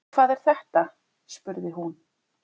Hvað er þetta spurði hún.